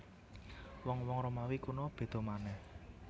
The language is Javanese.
Wong wong Romawi kuna béda manèh